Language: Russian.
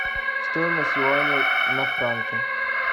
стоимость юаня на франки